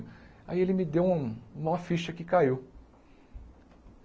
Aí ele me deu um uma ficha que caiu.